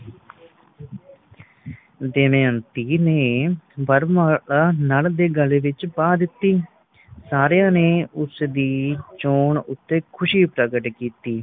ਦਮਯੰਤੀ ਨੇ ਵਰਮਾਲਾ ਨੱਲ ਦੇ ਗਲ਼ ਵਿਚ ਪਾ ਦਿੱਤੀ ਸਾਰਿਆਂ ਨੇ ਉਸਦੀ ਚੋਣ ਉਤੇ ਖੁਸ਼ੀ ਪ੍ਰਗਟ ਕੀਤੀ